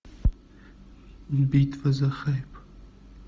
битва за хайп